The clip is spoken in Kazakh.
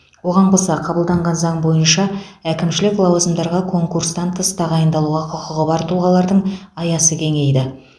оған қоса қабылданған заң бойынша әкімшілік лауазымдарға конкурстан тыс тағайындалуға құқығы бар тұлғалардың аясы кеңейді